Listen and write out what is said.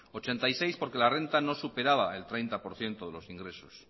ochenta y seis porque la renta no superaba el treinta por ciento de los ingresos